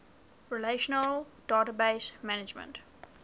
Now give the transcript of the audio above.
relational database management